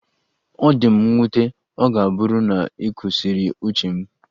Ọ dị m nwute, ọ ga-abụrịrị na ọ kwụsịrị uche m